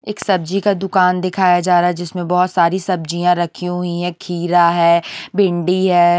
एक सब्जी का दुकान दिखाया जा रहा है जिसमें बहुत सारी सब्जियाँ रखी हुई हैं खीरा है भिंडी है।